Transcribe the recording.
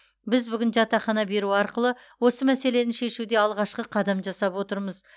біз бүгін жатақхана беру арқылы осы мәселені шешуде алғашқы қадам жасап отырмыз